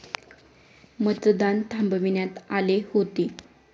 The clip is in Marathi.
मतदान थांबविण्यात आले होते.